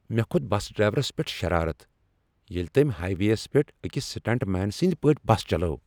مےٚ کھوٚت bus drivers پٮ۪ٹھ شرارتھ ییٚلہ تٔمۍ ہاے ویٚیس پٮ۪ٹھ أکس سٹنٛٹ مین سٕنٛدۍ پٲٹھۍ بس چلٲو ۔